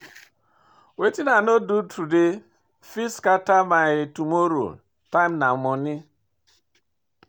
Wetin I no do today fit scatter my tomorrow, time na monie.